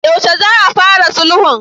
Yaushe za a fara sulhun?